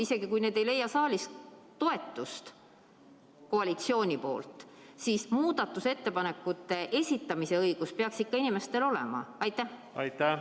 Isegi kui ettepanekud ei leia saalis koalitsiooni toetust, siis muudatusettepanekute esitamise õigus peaks inimestel ikka olema.